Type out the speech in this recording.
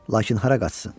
Lakin hara qaçsın?